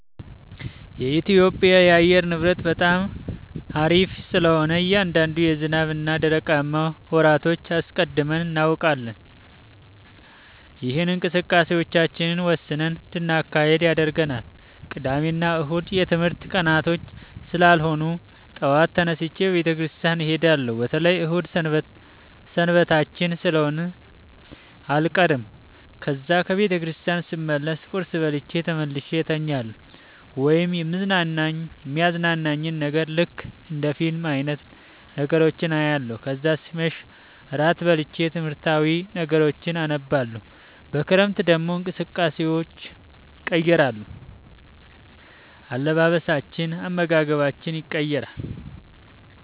የኢትዮጵያ የአየር ንብረት በጣም አሪፍ ስለሆነ እያንዳንዱ የዝናብ እና ደረቃማ ወራቶችን አስቀድመን እናውቃለን። ይህም እንቅስቃሴዎቻችንን ወስነን እንድናካሂድ ያደርገናል። ቅዳሜ እና እሁድ የትምህርት ቀናቶች ስላልሆኑ ጠዋት ተነስቼ ቤተክርስቲያን እሄዳለሁ በተለይ እሁድ ሰንበታችን ስለሆነ አልቀርም። ከዛ ከ ቤተክርስቲያን ስመለስ ቁርስ በልቼ ተመልሼ እተኛለሁ ወይም የሚያዝናናኝን ነገር ልክ እንደ ፊልም አይነት ነገሮችን አያለሁ። ከዛ ሲመሽ ራት በልቼ ትምህርታዊ ነገሮችን አነባለሁ። በክረምት ደግሞ እንቅስቃሴዎች ይቀየራሉ፤ አለባበሳችን፣ አመጋገባችን የቀየራል።